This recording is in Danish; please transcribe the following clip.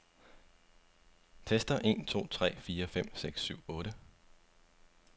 Tester en to tre fire fem seks syv otte.